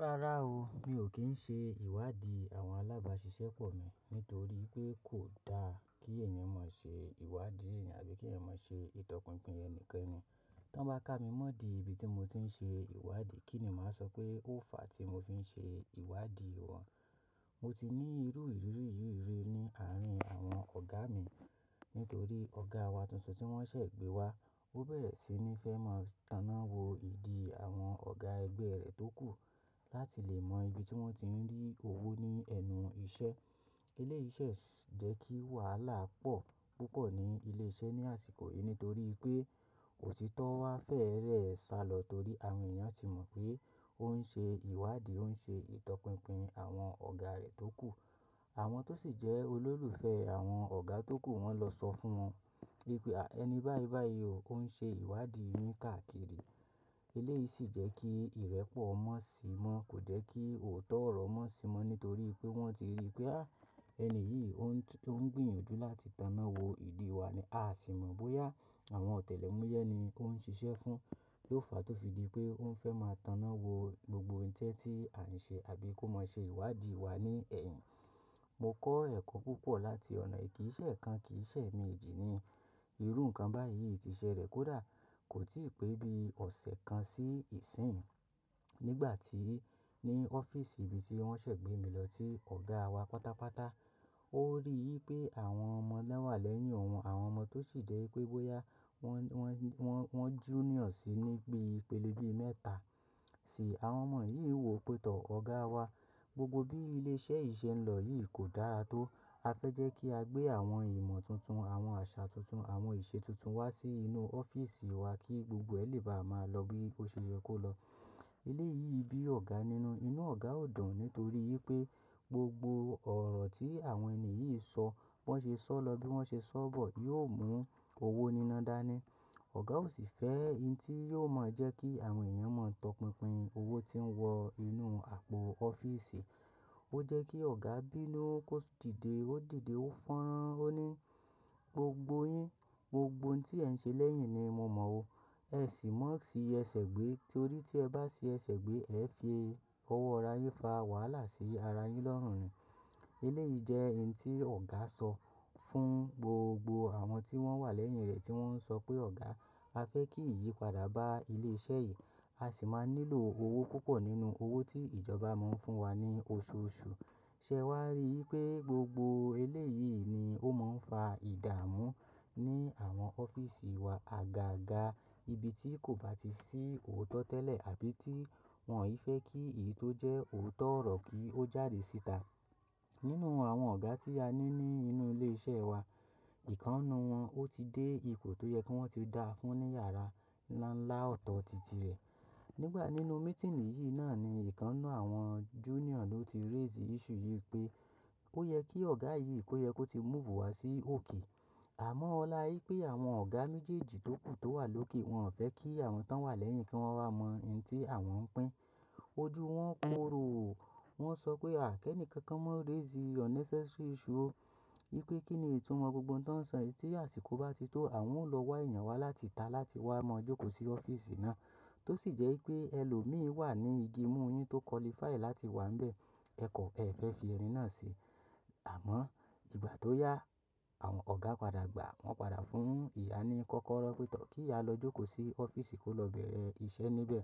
Rárá o, mi ò kí ń ṣe ìwádìí àwọn alábàáṣiṣẹ́ pọ̀ mi nítorí pé kò da kí ènìyàn máa ṣe ìwádìí ẹ̀yìn àbí kí ènìyàn máa ṣe ìtọpinpin ẹni kankan ni. Tán bá ká mi mọ́ di ibi tí mo ti ń ṣe ìwádìí, kí ni màá sọ pé ó fàá tí mo fi ń ṣe ìwádìí wọn? Mo ti ní irú ìrírí yìí rí ní àárín àwọn ọ̀gá mi nítorí ọ̀gá wa tuntun tí wọ́n ṣẹ̀ gbé wá, ó bẹ̀rẹ̀ sí ní fẹ́ máa tana wo ìdí àwọn ọ̀gá ẹgbẹ́ rẹ̀ tó kù láti lè mọ ibi tí wọ́n ti ń rí owó ní ẹnú iṣẹ́. Eléyìí ṣè jẹ́ kí wàhálà pọ̀ púpọ̀ ní ilé iṣẹ́ ní àsìkò yìí nítorí pé òtítọ́ wá fẹ́rẹ sálọ torí àwọn ènìyàn ti mọ̀ pé ó ń ṣe ìwádìí, ó ń ṣe ìtọpinpin àwọn ọ̀gá rẹ̀ tó kù. Àwọn tó sì jẹ́ olólùfẹ́ àwọn ọ̀gá tó kù wọ́n lọ sọ fún wọn wípé "ẹni báì báì o ó ń ṣe ìwádìí yin káàkiri". Eléyìí sì jẹ́ kí ìrẹ́pọ̀ mọ́ sí i mọ́, kò jẹ́ kí òótọ́ ọ̀rọ̀ mọ́ sí i mọ́ nítorí pé wọ́n ti rí i pé "à á, ẹni yìí ó ń gbìyànjú láti tana wo ìdí wa ni, a sì mọ̀ bóyá àwọn ọ̀tẹlẹ̀múyẹ́ ni ó ń ṣiṣẹ́ fún. Ó fàá tó fi di pé ó ń fẹ́ máa tana wo gbogbo ń tẹ́ tí à ń ṣe àbí kó máa ṣe ìwádìí wa ní ẹ̀yìn". Mo kọ́ ẹ̀kọ́ púpọ̀ láti ọ̀nà yìí, kì í ṣẹ̀ ekan, kì í ṣẹ̀ emeèjì ni. Irú nǹkan báyìí ti ṣẹ lẹ̀ kó dà, kò tí ì pé bí ọ̀sẹ̀ kan sí ìsín. Nígbà tí ní ọ́fíísì ibi tí wọ́n ṣẹ̀ gbé mi lọ tí ọ̀gá wa pátápátá, ó rí i pé àwọn ọmọ náà wà lẹ́yìn òun, àwọn ọmọ tó sì jẹ́ pé bóyá wọ́n, wọ́n, wọ́n junior sí i ní bí ipélé bii mẹ́ta sìi. Àwọn ọmọ yìí wò pé tọ́ ọ̀gá wa, gbogbo bí ilé iṣẹ́ yìí ṣe ń lọ yìí kò dára tó. A fẹ́ jẹ́ kí a gbé àwọn ìmọ̀ tuntun, àwọn àṣà tuntun, àwọn ìṣe tuntun wá sí inú ọ́fíísì wa kí gbogbo ẹ̀ lè bá máa lọ bí ó ṣe yẹ kó lọ. Eléyìí bí ọ̀gá nínú, inú ọ̀gá ò dùn nítorí pé gbogbo ọ̀rọ̀ tí àwọn ènìyàn yìí ń sọ, bí wọ́n ṣe sọ́ lọ bí wọ́n ṣe sọ́ bọ̀ yóò mú owó níná dání. Ọ̀gá ò sì fẹ́ ihn tí yóò máa jẹ́ kí àwọn ènìyàn máa ń tọpinpin owó tí ń wọ inú àpò ọ́fíísì. Ó jẹ́ kí ọ̀gá bínú, ó sì dìde, ó dìde, ó fọ́nrán, ó ní "gbogbo yín, gbogbo ohun tí ẹ̀ ń ṣe lẹ́yìn ni mo mọ̀ ọ́. Ẹ sì má ṣe ẹ ṣẹ̀ gbé torí tí ẹ bá ṣe ẹ ṣẹ̀ gbé, ẹ fi owó ara yín fa wàhálà sí ara yín lọ́rùn-ún ni". Eléyìí jẹ́ ihn tí ọ̀gá sọ fún gbogbo àwọn tí wọ́n wà lẹ́yìn rẹ̀ tí wọ́n ń sọ pé ọ̀gá, a fẹ́ kí ìyí padà bá ilé iṣẹ́ yìí, a sì máa nílò owó púpọ̀ nínú owó tí ìjọba máa ń fún wa ní oṣooṣù. Ṣẹ́ wá rí i pé gbogbo eléyìí ni ó máa ń fa ìdààmú ní àwọn ọ́fíísì wa àga àga ibi tí kò bá ti sí òótọ́ tẹ́lẹ̀ àbí tí wọ́n ò fẹ́ kí èyí tó jẹ́ òótọ́ ọ̀rọ̀ kí ó jáde síta. Nínú àwọn ọ̀gá tí a ní ní inú ilé iṣẹ́ wa, ìkan nínú wọn ó ti dé ipò tó yẹ kó ti dáa fún ní yàrá ńlá ńlá ọ̀tọ̀ tìtì rẹ̀. Nígbà nínú mítínì yìí náà ni ìkan nínú àwọn junior ló ti raise issue yìí pé ó yẹ kí ọ̀gá yìí kó yẹ kó ti move wá sí òkè. Àmọ́ ọ́ la í pé àwọn ọ̀gá méjèèjì tó kù tó wà lókè wọ́n ò fẹ́ kí àwọn tó wà lẹ́yìn kí wọ́n wá mọ ihn tí àwọn ń pín. Ojú wọn korò o. Wọ́n sọ pé à kẹ́ńì kankan máa raise unnecessary issue o. Yí pé kí ni ìtúmọ̀ gbogbo ohun tó ń sọ yìí tí àsìkò bá ti tó, àwọn ó lọ wá èèyàn wá láti ìta láti wá máa jókòó sí ọ́fíísì náà. Tó sì jẹ́ wípé ẹ lò mi wà ní igi mú oyún tó qualify láti wà níbẹ̀, ẹ̀kọ́ ẹ fẹ́ fi ẹni náà ṣe. Àmọ́ ìgbà tó yá, àwọn ọ̀gá padà gbàá, wọ́n padà fún ìyá ní kọ́kọ́rọ́ pé tọ́ kí ìyá lọ jókòó sí ọ́fíísì kó lọ bẹ̀rẹ̀ iṣẹ́ níbẹ̀.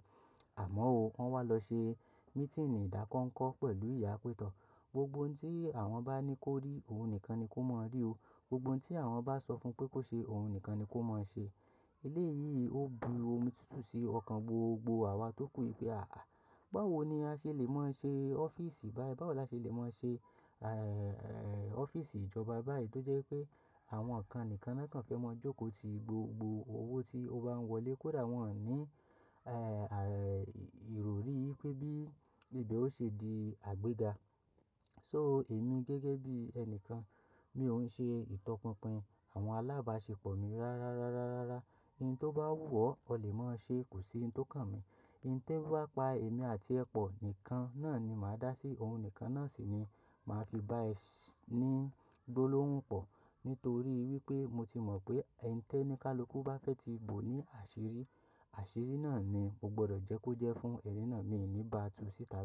Àmọ́ o, wọ́n wá lọ ṣe mítínì ìdákọ́ ńkọ́ pẹ̀lú ìyá pé tọ́ gbogbo ohun tí àwọn bá ní kó rí, òun nìkan ni kó máa rí o. Gbogbo ohun tí àwọn bá sọ fún pé kó ṣe, òun nìkan ni kó máa ṣe. Eléyìí ò bu omi tútù sí ọkàn gbogbo àwa tó kù i pé àáà, báwo ni a ṣé lè máa ṣe ọ́fíísì báyìí? Báwo la ṣé lè máa ṣe, eh, eh, ọ́fíísì ìjọba báyìí tó jẹ́ pé àwọn kan nìkan náà kan fẹ́ máa jókòó ti gbogbo owó tí ó bá ń wọlé kó dà wọ́n ò ní, eh, à, ìròrí pé bí ìbẹ̀ ò ṣe di àgbéga. So èmi gẹ́gẹ́ bí ẹni kan, mi ò ń ṣe ìtọpinpin àwọn alábáṣepọ̀ mi rárá, rárá, rárá. Ihn tó bá wù ọ́, o lè máa ṣe, kò sí ihn tó kàn mí. Ihn tí ń bá pa èmi àti ẹ̀ pọ̀ nìkan náà ni màá dá sí i, ohun nìkan náà sì ni màá fi bá ẹ sin ní gbólóhùn pọ̀. Nítorí wípé mo ti mọ̀ pé ẹni tí ẹnìkalukú bá fẹ́ ti bò ó ní àṣírí, àṣírí náà ni mo gbọ́dọ̀ jẹ́ kó jẹ́ fún ẹni náà, mi ò ní bá a tú sí tàbí kí.